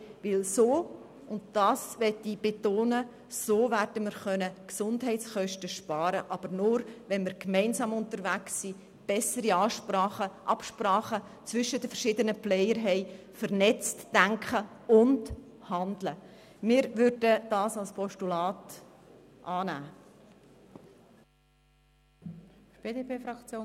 Denn so könnten wir Gesundheitskosten sparen, das möchte ich betonen, aber nur, wenn wir gemeinsam unterwegs sind und zwischen den verschiedenen Player bessere Absprachen bestehen, wenn wir also vernetzt denken und handeln.